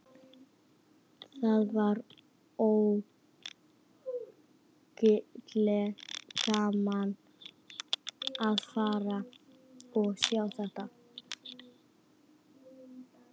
Það var ógurlega gaman að fara og sjá þetta.